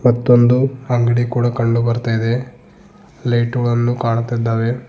ಮತ್ತೊಂದು ಅಂಗಡಿ ಕೂಡ ಕಂಡು ಬರ್ತಾಇದೆ ಲೈಟು ಗಳನ್ನು ಕಾಣುತ್ತಿದ್ದಾವೆ.